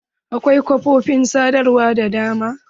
Akwai kafofin sadarwa da dama.